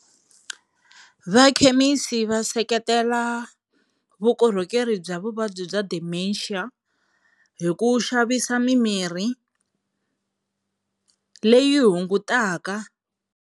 Vakhemisi va seketela vukorhokeri bya vuvabyi bya Dementia hi ku xavisa mimirhi leyi hungutaka.